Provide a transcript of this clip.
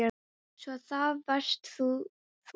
Svo. að það varst þá þú?